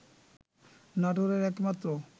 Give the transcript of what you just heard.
নাটোরের একমাত্র